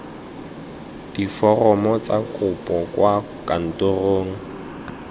diforomo tsa kopo kwa kantorong